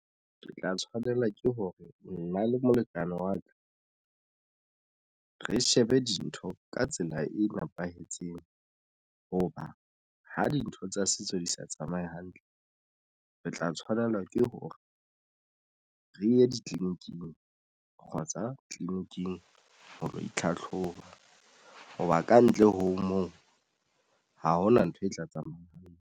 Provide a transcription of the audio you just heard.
Ke tla tshwanela ke hore nna le molekane wa ka re shebe dintho ka tsela e nepahetseng. Hoba ha dintho tsa setso di sa tsamaye hantle, re tla tshwanelwa ke hore re ye ditliliniking kgotsa tleleniking ho lo itlhatlhoba hoba kantle ho moo ha hona ntho e tla tsamayang.